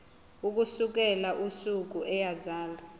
ukusukela usuku eyazalwa